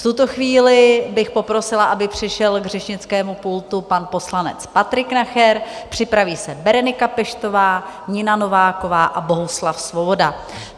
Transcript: V tuto chvíli bych poprosila, aby přišel k řečnickému pultu pan poslanec Patrik Nacher, připraví se Berenika Peštová, Nina Nováková a Bohuslav Svoboda.